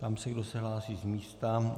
Ptám se, kdo se hlásí z místa.